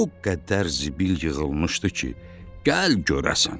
O qədər zibil yığılmışdı ki, gəl görəsən.